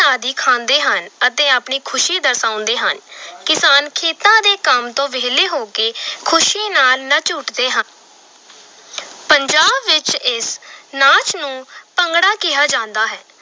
ਆਦਿ ਖਾਂਦੇ ਹਨ ਅਤੇ ਆਪਣੀ ਖ਼ੁਸ਼ੀ ਦਰਸਾਉਂਦੇ ਹਨ ਕਿਸਾਨ ਖੇਤਾਂ ਦੇ ਕੰਮ ਤੋਂ ਵਿਹਲੇ ਹੋ ਕੇ ਖ਼ੁਸ਼ੀ ਨਾਲ ਨੱਚ ਉੱਠਦੇ ਹ ਪੰਜਾਬ ਵਿੱਚ ਇਸ ਨਾਚ ਨੂੰ ਭੰਗੜਾ ਕਿਹਾ ਜਾਂਦਾ ਹੈ।